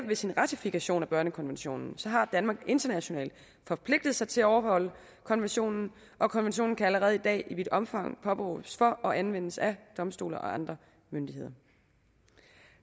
ved sin ratifikation af børnekonventionen har danmark internationalt forpligtet sig til at overholde konventionen og konventionen kan allerede i dag i vidt omfang påberåbes for og anvendes af domstole og andre myndigheder